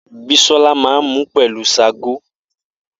Bisola máa n mu pelu ṣágo.